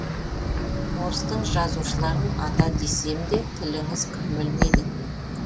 орыстың жазушларын ата десем де тіліңіз күрмелмейді